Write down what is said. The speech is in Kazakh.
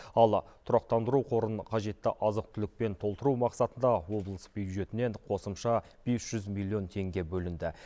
ал тұрақтандыру қорын қажетті азық түлікпен толтыру мақсатында облыс бюджетінен қосымша бес жүз миллион теңге бөлінді